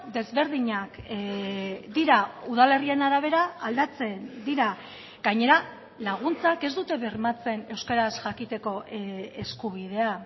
desberdinak dira udalerrien arabera aldatzen dira gainera laguntzak ez dute bermatzen euskaraz jakiteko eskubidea